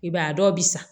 I b'a dɔw bɛ san